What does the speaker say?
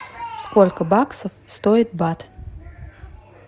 сколько баксов стоит бат